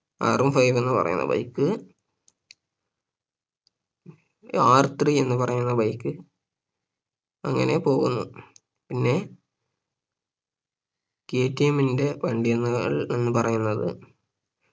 Rone Five എന്ന് പറയുന്ന Bike RThree എന്ന് പറയുന്ന bike അങ്ങനെ പോകുന്നു പിന്നേ കെ ടി എം ന്റെ വണ്ടികൾ എന്ന് പറയുന്നത്